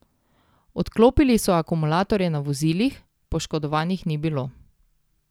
Odklopili so akumulatorje na vozilih, poškodovanih ni bilo.